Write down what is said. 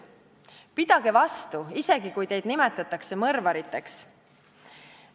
Pidage vastu, isegi kui teid nimetatakse mõrvariteks!